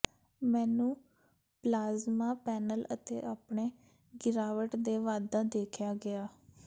ਮੈਨੂੰ plasma panel ਅਤੇ ਆਪਣੇ ਗਿਰਾਵਟ ਦੇ ਵਾਧਾ ਦੇਖਿਆ ਗਿਆ